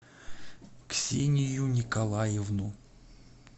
ксению николаевну